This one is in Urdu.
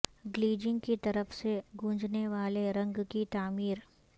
گلیجنگ کی طرف سے گونجنے والے رنگ کی تعمیر